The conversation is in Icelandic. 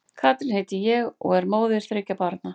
Katrín heiti ég og og er móðir þriggja barna.